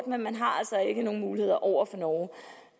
men man har altså ikke nogen muligheder over for norge